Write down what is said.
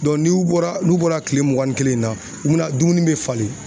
n'u bɔra, n'u bɔra kile mugan ni kelen in na, u be na dumuni be falen.